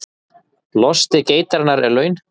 Losti geitarinnar er laun